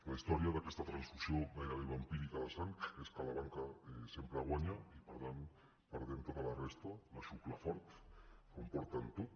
la història d’aquesta transfusió gairebé vampírica de sang és que la banca sempre guanya i per tant hi perdem tota resta la xucla fort s’ho emporten tot